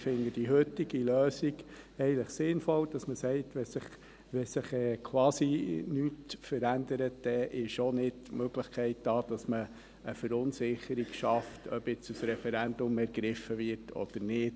Ich finde die heutige Lösung eigentlich sinnvoll, dahingehend, dass man sagt: Wenn sich quasi nichts verändert, dann ist auch nicht die Möglichkeit da, dass man eine Verunsicherung schafft, ob nun ein Referendum ergriffen wird oder nicht.